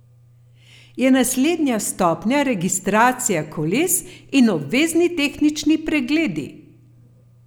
Je naslednja stopnja registracija koles in obvezni tehnični pregledi?